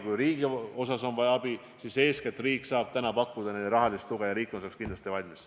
Kui riigilt on abi vaja, siis riik saab täna pakkuda neile eeskätt rahalist tuge ja riik on selleks kindlasti ka valmis.